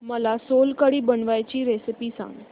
मला सोलकढी बनवायची रेसिपी सांग